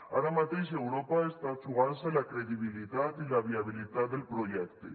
ara mateix europa està jugant se la credibilitat i la viabilitat del projecte